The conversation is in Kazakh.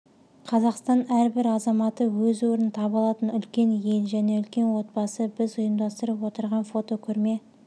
қазақстан әрбір азаматы өз орнын таба алатын үлкен ел және үлкен отбасы біз ұйымдастырып отырған фотокөрме